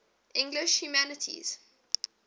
english humanists